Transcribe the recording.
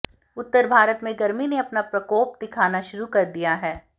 उत्तर भारत में गर्मी ने अपना प्रकोप दिखाना शुरू कर दिया है